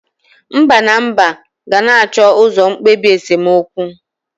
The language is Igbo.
Mba na Mba ga-na acho uzo mkpebi esemokwu.